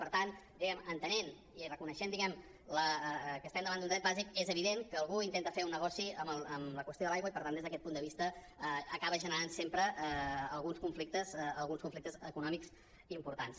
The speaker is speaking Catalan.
per tant entenent i reconeixent diguem ne que estem davant d’un dret bàsic és evident que algú intenta fer un negoci amb la qüestió de l’aigua i per tant des d’aquest punt de vista acaba generant sempre alguns conflictes econòmics importants